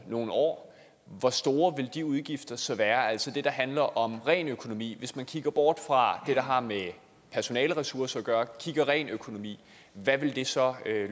nogle år hvor store vil de udgifter så være altså det der handler om økonomi hvis man ser bort fra det som har med personaleressourcer at gøre og ser på det rent økonomisk hvad vil det så